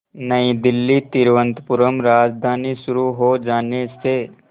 नई दिल्ली तिरुवनंतपुरम राजधानी शुरू हो जाने से